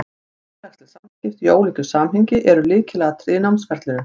Félagsleg samskipti, í ólíku samhengi, eru lykilatriði í námsferlinu.